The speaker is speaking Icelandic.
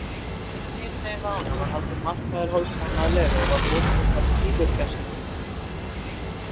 Í bænum hinumegin við ána var haldinn markaður hálfsmánaðarlega og var bóndinn þar tíður gestur.